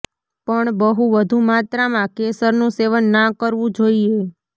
પણ બહુ વધુ માત્રામાં કેસરનું સેવન ના કરવું જોઇએ